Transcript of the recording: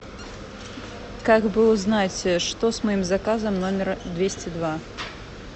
как бы узнать что с моим заказом номер двести два